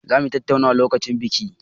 Zamu yi tattaunar lokacin biki.